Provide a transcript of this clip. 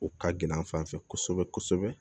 O ka gɛlɛn an fan fɛ kosɛbɛ kosɛbɛ